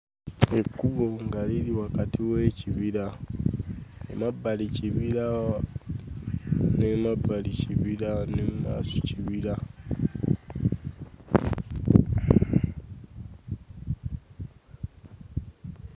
Ekkubo nga liri wakati w'ekibira. Emmabbali kibira n'emabbali kibira ne mu maaso kibira.